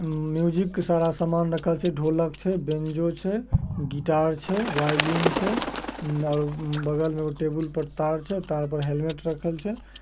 अ-म-म-म्यूजिक का सारा सामान रखल छै ढोलक छै बेंजो छै गिट्टार छै वायलिन छै। अ-म-म और बगल में एगो टेबुल में तार छै तार पे हेलमेट रखल छै।